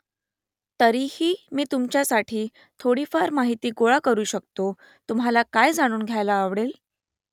तरीही मी तुमच्यासाठी थोडीफार माहिती गोळा करू शकतो तुम्हाला काय जाणून घ्यायला आवडेल ?